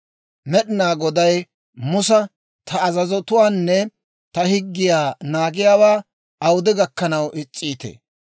Med'inaa Goday Musa, «Ta azazatuwaanne ta higgiyaa naagiyaawaa awude gakkanaw is's'iitee?